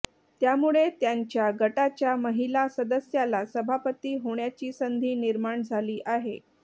त्यामुळे त्यांच्या गटाच्याच महिला सदस्याला सभापती होण्याची संधी निर्माण झाली आहे